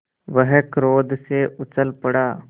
वह क्रोध से उछल पड़ा